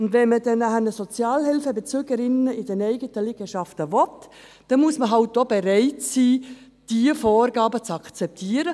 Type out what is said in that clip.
Wenn man Sozialhilfebezügerinnen und -bezüger in den eigenen Liegenschaften haben will, muss man halt auch bereit sein, diese Vorgaben zu akzeptieren.